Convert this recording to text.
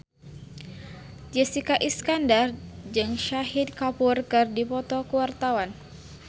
Jessica Iskandar jeung Shahid Kapoor keur dipoto ku wartawan